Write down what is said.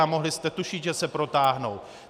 A mohli jste tušit, že se protáhnou.